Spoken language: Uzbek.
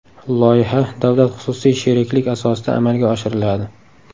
Loyiha davlat-xususiy sheriklik asosida amalga oshiriladi.